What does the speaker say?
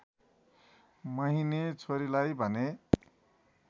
महिने छोरीलाई भने